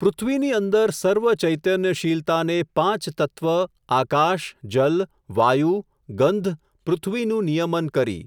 પૃથ્વીની અંદર સર્વ ચૈતન્યશીલતાને પાંચતત્વ આકાશ, જલ, વાયુ, ગંધ, પૃથ્વીનું નિયમન કરી.